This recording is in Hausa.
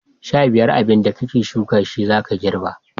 15. Abinda ka shuka shine zaka girba.